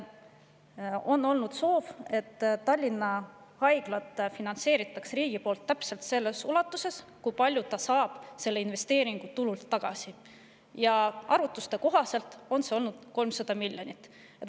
On olnud soov, et Tallinna Haiglat finantseeritaks riigi poolt täpselt selles ulatuses, kui palju ta saab selle investeeringu tulult tagasi, ja arvutuste kohaselt on see olnud 300 miljonit.